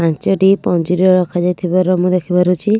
ପାଞ୍ଚୋଟି ପଞ୍ଜିର ରଖା ଯାଇଥିବାର ମୁଁ ଦେଖିପାରୁଛି .]